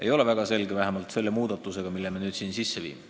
Ei ole väga selge vähemalt selle muudatuse puhul, mille me nüüd siin ehk teeme.